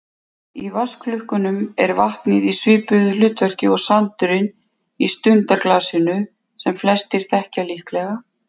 Í vatnsklukkum er vatnið í svipuðu hlutverki og sandurinn í stundaglasinu sem flestir þekkja líklega.